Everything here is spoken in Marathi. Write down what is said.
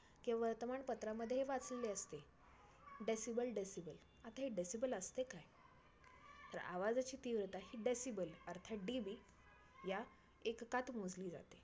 किंवा वर्तमानपत्रामध्ये ही वाचले असते decibel decibel आता हे decibel असते काय? तर आवाजची तीव्रता ही decibel अर्थात DB या एककात मोजली जाते.